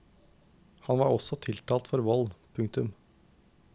Han var også tiltalt for vold. punktum